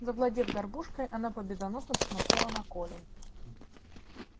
завладев горбушкой она победоносно посмотрела на колю